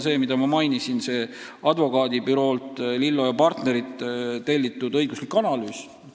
Täiendav info on see, et Advokaadibüroolt Lillo & Partnerid on tellitud õiguslik analüüs.